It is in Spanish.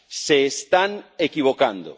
Se están equivocando.